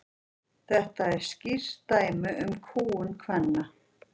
þetta er skýrt dæmi um kúgun kvenna